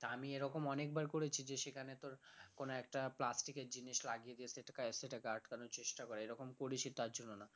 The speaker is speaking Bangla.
তা আমি এরকম অনেকবার করেছি যে সেখানে তোর কোনো একটা plastic এর জিনিস লাগিয়ে যে সেটাকে সেটাকে আটকানোর চেষ্টা করা এরকম করি সে তার জন্য না